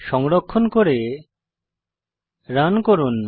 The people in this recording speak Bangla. সংরক্ষণ করে রান করুন